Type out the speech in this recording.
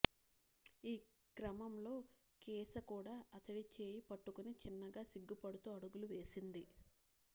ఈ క్రమంలో కేశ కూడా అతడి చేయి పట్టుకుని చిన్నగా సిగ్గు పడుతూ అడుగులు వేసింది